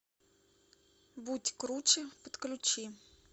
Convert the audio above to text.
будь круче подключи